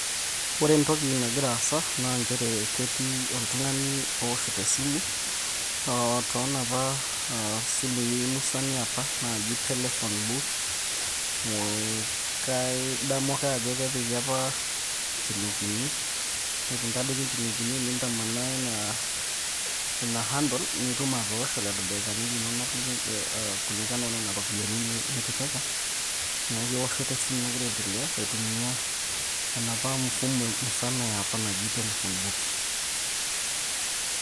Kore entoki nagira aasa naa nchere ketii oltung'ani owoshito esimu, toonapa aah simui musan eopa naaji telephone booths. Kadamu ake ajo kepiki opa nchilingini, ore piintadoiki nchilingini nintamanaa ina handle nitum atoosho lelo daikani linonok kulingana onena ropiyiani nitipika. Neeku ewoshoto esimu nagira aendelea aitumia enopa mfumo musana eopa naji telephone booth.